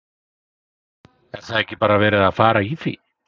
Er það ekki bara verið að fara í því?